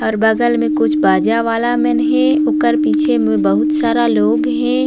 और बगल में कुछ बाजा वाला मन हे ओकर पीछे में बहुत सारा लोग हे।